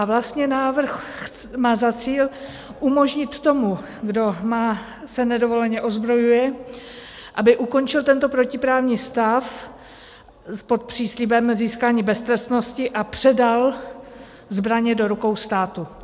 A vlastně návrh má za cíl umožnit tomu, kdo se nedovoleně ozbrojuje, aby ukončil tento protiprávní stav pod příslibem získání beztrestnosti a předal zbraně do rukou státu.